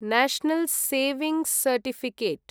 national saving certificate